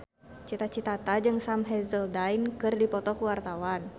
Cita Citata jeung Sam Hazeldine keur dipoto ku wartawan